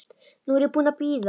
Nú er ég búin að bíða.